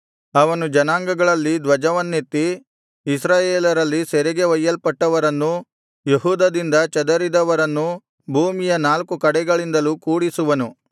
ಅವನು ಜನಾಂಗಗಳಲ್ಲಿ ಧ್ವಜವನ್ನೆತ್ತಿ ಇಸ್ರಾಯೇಲರಲ್ಲಿ ಸೆರೆಗೆ ಒಯ್ಯಲ್ಪಟ್ಟವರನ್ನೂ ಯೆಹೂದದಿಂದ ಚದರಿದವರನ್ನೂ ಭೂಮಿಯ ನಾಲ್ಕು ಕಡೆಗಳಿಂದಲೂ ಕೂಡಿಸುವನು